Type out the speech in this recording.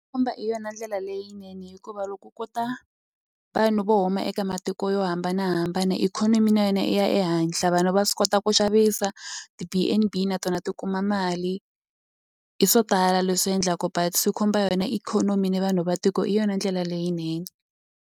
Famba hi yona ndlela leyinene hikuva loko ko ta vanhu vo huma eka matiko yo hambanahambana ikhonomi na yona yi ya ehenhla vanhu va swi kota ku xavisa ti-B_N_B na tona ti kuma mali i swo tala leswi endlaku but swikhumba yona ikhonomi ni vanhu va tiko i yona ndlela leyinene.